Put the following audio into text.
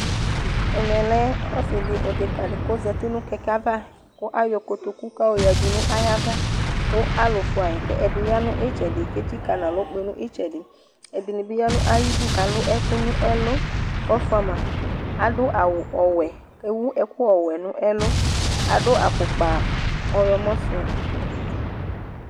Ɛmɛ lɛ ɔsɩdɩ edekǝfɩ k'ozati nʋ kɛkɛ ava, kʋ ayɔ kotoku k'ayɔ yǝdu n'ayava ; kʋ alʋ fʋayi kʋ ɛdɩ ya n'ɩtsɛdɩ, k'etsikǝ n'alɔ kpe nʋ ɩtsɛdɩ Ɛdɩnɩ bɩ ya nʋ ayidu k'alʋ ɛkʋ nʋ ɛlʋ k'ɔfʋa ma Adʋ awʋ ɔwɛ k'rwu ɛkʋ ɔwɛ nʋ ɛlʋ , adʋ afʋkpa ɔɣlɔmɔ sʋ